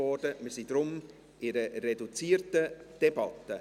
Wir befinden uns deshalb in einer reduzierten Debatte.